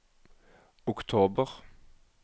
oktober